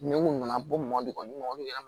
Ni mun nana bɔ mɔbili olu yɛlɛma